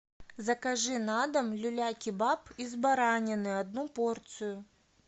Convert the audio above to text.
закажи на дом люля кебаб из баранины одну порцию